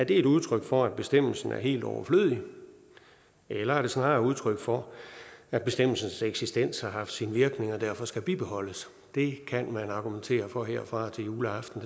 et udtryk for at bestemmelsen er helt overflødig eller er det snarere udtryk for at bestemmelsens eksistens har haft sin virkning og derfor skal bibeholdes det kan man argumentere for herfra og til juleaften